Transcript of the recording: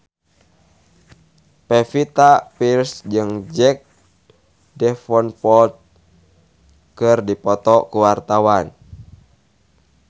Pevita Pearce jeung Jack Davenport keur dipoto ku wartawan